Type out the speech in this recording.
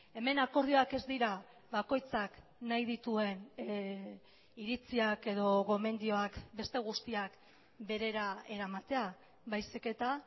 hemen akordioak ez dira bakoitzak nahi dituen iritziak edo gomendioak beste guztiak berera eramatea baizik eta